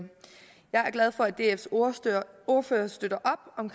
jeg er glad for at dfs ordfører støtter op om